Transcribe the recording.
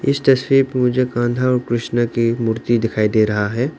इस तस्वीर मुझे कान्हा और कृष्ण की मूर्ति दिखाई दे रहा है।